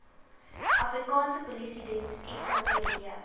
afrikaanse polisiediens sapd